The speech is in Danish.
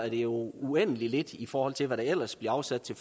jo uendelig lidt i forhold til hvad der ellers bliver afsat til